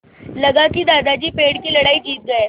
लगा कि दादाजी पेड़ की लड़ाई जीत गए